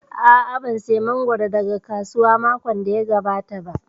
A'a, ban saya mangoro daga kasuwa makon da ya gabata ba